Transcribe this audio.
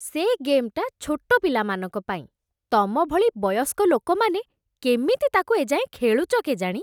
ସେ ଗେମ୍‌ଟା ଛୋଟ ପିଲାମାନଙ୍କ ପାଇଁ । ତମ ଭଳି ବୟସ୍କ ଲୋକମାନେ କେମିତି ତା'କୁ ଏ ଯାଏଁ ଖେଳୁଛ କେଜାଣି?